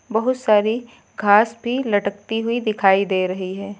बहुत सारी घास भी लटकती हुई दिखाई दे रही है।